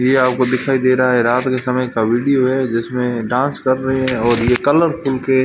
ये आपको दिखाई दे रहा है रात के समय का वीडियो है जिसमें डांस कर रहे हैं और ये कलरफुल के--